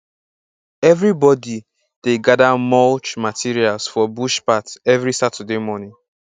everybody dey gather mulch materials for bush path every saturday morning